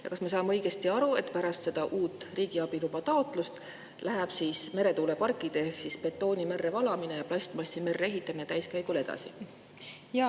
Ja kas me saame õigesti aru, et pärast uut riigiabiloa taotlust läheb meretuuleparkide ehitamine ehk betooni merre valamine ja plastmassi merre täiskäigul edasi?